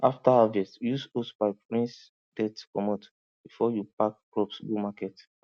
after harvest use hosepipe rinse dirt comot before you pack crops go market